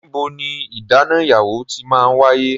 Níbo ní ìdáná ìyàwó ti máa ń wáyé?